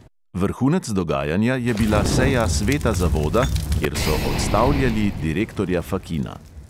Vrhunec dogajanja je bila seja sveta zavoda, kjer so odstavljali direktorja fakina.